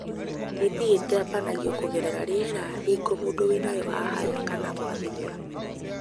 TB ĩtambagio kũgerera rĩera hĩngo mũndu wĩnayo ahaya kana gwathimũra.